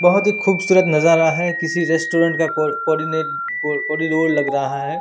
बहोत ही खुबसुरत नजारा है किसी रेस्टोरेंट का कोड कॉर्डीनेट कोरडीनोर लग रहा है।